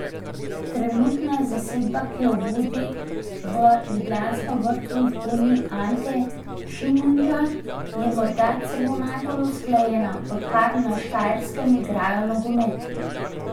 Trenutna zasedba, ki jo vodi v Ljudskem vrtu vzgojeni Ante Šimundža, je morda celo najbolj usklajena, odkar na Štajerskem igrajo nogomet.